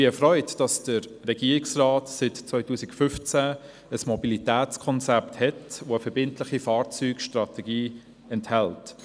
Ich bin erfreut, dass der Regierungsrat seit 2015 ein Mobilitätskonzept hat, das eine verbindliche Fahrzeugstrategie enthält.